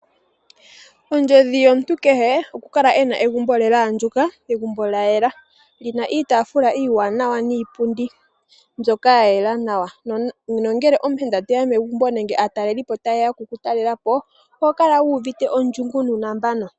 Ondjodhi yomuntu kehe okukala ena egumbo lyaadjuka lyo olyayela, lina iitafula niipundi ya yela nawa. Ngele omuyenda teya megumbo nenge aataleli po taye ya okutalela po omuntu oho kala wuuvite uunambano.